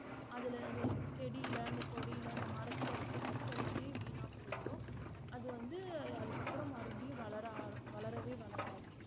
அதுல அந்த செடியில அந்த கொடியில அந்த மரத்துல இருக்க சத்தெல்லாமே வீணா போயிரும் அது வந்து அதுக்கப்புறம் மறுபடியும் வளர ஆர~ வளரவே வளராது